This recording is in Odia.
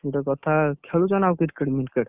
ଗୋଟେ କଥା ଖେଳୁଛ ନା ଆଉ Cricket ଫିକ୍ରେଟ୍?